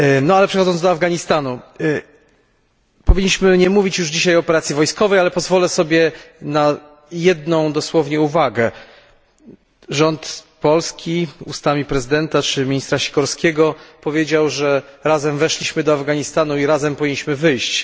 Ale przechodząc do Afganistanu, powinniśmy nie mówić już dzisiaj o operacji wojskowej, ale pozwolę sobie na jedną dosłownie uwagę rząd Polski, ustami prezydenta czy ministra Sikorskiego, powiedział, że razem weszliśmy do Afganistanu i razem powinniśmy wyjść.